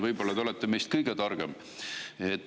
Võib-olla te olete meist kõige targem.